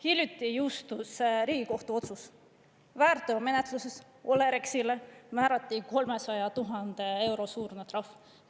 Hiljuti jõustus Riigikohtu otsus, väärteomenetluses Olerexile määrati 300 000 euro suurune trahv.